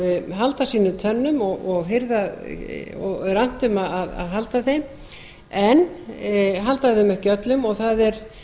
halda sínum tönnum og er annt um að halda þeim en halda þeim ekki öllum og það er